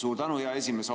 Suur tänu, hea esimees!